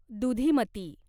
दुधीमती